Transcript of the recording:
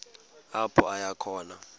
apho aya khona